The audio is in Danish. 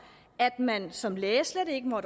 at man som læge slet ikke må